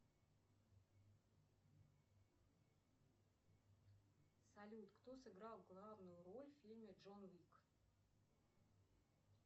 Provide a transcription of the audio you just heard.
салют кто сыграл главную роль в фильме джон уик